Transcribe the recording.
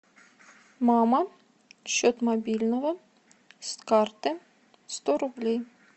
мама счет мобильного с карты сто рублей